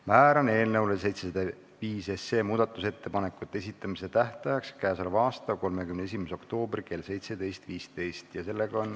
Määran eelnõu 705 muudatusettepanekute esitamise tähtajaks k.a 31. oktoobri kell 17.15.